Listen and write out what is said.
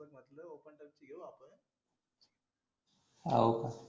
हो का